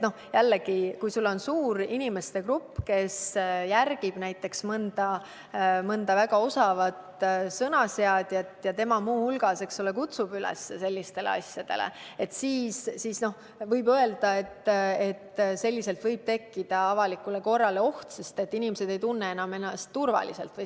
Näiteks kui on suur grupp inimesi, kes järgivad mõnda väga osavat sõnaseadjat ja tema kutsub üles sellistele asjadele, siis võib öelda, et võib tekkida oht avalikule korrale, sest inimesed ei tunne ennast enam turvaliselt.